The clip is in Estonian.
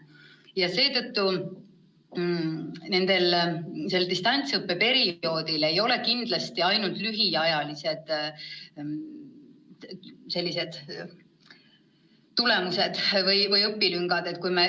Ja nii pikal distantsõppe perioodil ei teki kindlasti ainult lühiajalised kehvad tulemused või õpilüngad.